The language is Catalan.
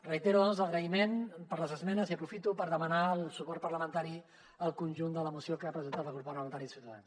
reitero doncs l’agraïment per les esmenes i aprofito per demanar el suport parlamentari al conjunt de la moció que ha presentat el grup parlamentari de ciutadans